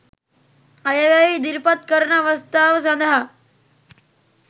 අයවැය ඉදිරිපත් කරන අවස්ථාව සඳහා